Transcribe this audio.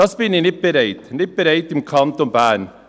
– Dazu bin ich nicht bereit, nicht bereit, im Kanton Bern.